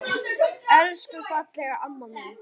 Elsku fallega amma mín.